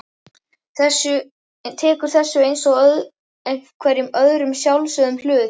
Tekur þessu einsog hverjum öðrum sjálfsögðum hlut.